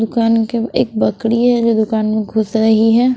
दुकान के एक बकड़ी है जो दुकान में घुस रही है।